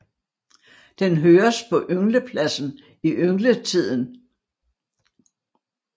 Den høres på ynglepladsen i yngletiden